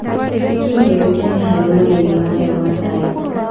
Kenya yoĩkaine harĩ harĩ mageria mayo ma thayũ.